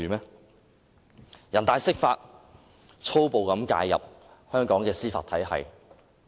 人大常委會釋法，多次粗暴介入香港的司法體系。